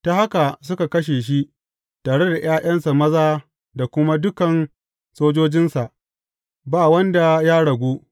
Ta haka suka kashe shi, tare da ’ya’yansa maza da kuma dukan sojojinsa, ba wanda ya ragu.